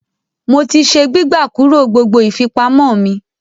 Mo ti se “ gbígbà kúrò ” gbogbo ìfipamọ́ mi.